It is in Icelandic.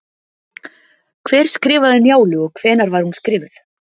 Hver skrifaði Njálu og hvenær var hún skrifuð?